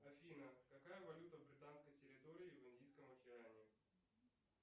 афина какая валюта в британской территории в индийском океане